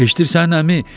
Eşidirsən əmi?